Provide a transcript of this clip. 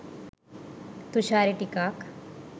තුශාරි ටිකක්